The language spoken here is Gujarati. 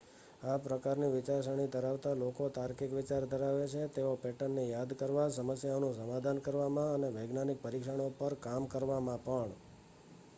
આ પ્રકારની વિચારસરણી ધરાવતા લોકો તાર્કિક વિચાર ધરાવે છે તેઓ પેટર્નને યાદ કરવા સમસ્યાઓનું સમાધાન કરવામાં અને વૈજ્ઞાનિક પરીક્ષણો પર કામ કરવામાં પણ